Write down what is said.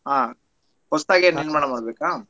ಹಾ ಹೊಸ್ತಾಗಿ ನಿರ್ಮಾಣ ಮಾಡ್ಬೇಕಾ?